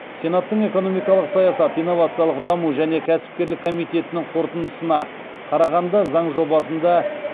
сенаттың экономикалық саясат инновациялық даму және кәсіпкерлік комитетінің қорытындысына қарағанда заң жобасында